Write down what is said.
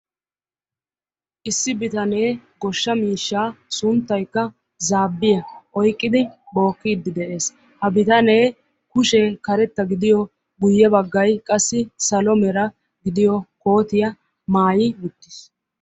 Issi bitanee goshsha miishshaa sunttaykka zaabbiya oyqqidi bookkiiddi de'es. Ha bitanee kushee karetta gidiyo guyye baggayi qassi salo mera gidiyo kootiya maayi uttis.